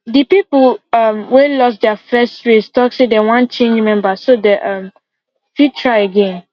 the people um wey lose their first race talk say they wan change members so they um fit try again